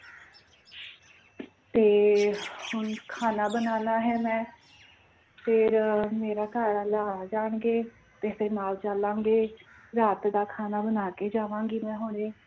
ਤੇ ਹੁਣ ਖਾਣਾ ਬਨਾਨਾ ਹੈ ਮੈਂ ਫਿਰ ਮੇਰਾ ਘਰ ਵਾਲਾ ਆ ਜਾਣਗੇ ਤੇ ਫਿਰ ਨਾਲ ਚਲਾਂਗੇ ਰਾਤ ਦਾ ਖਾਣਾ ਬਣਾ ਕੇ ਜਾਵਾਂਗੀ ਮੈਂ ਹੁਣੇ